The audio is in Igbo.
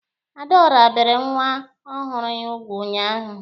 Adaọra bere nwa ọhụrụ ya ugwu ụnyaahụ.